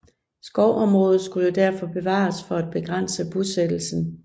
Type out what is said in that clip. Skovområder skulle derfor bevares for at begrænse bosættelsen